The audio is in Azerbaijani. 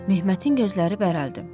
Məhmətin gözləri bərəldi.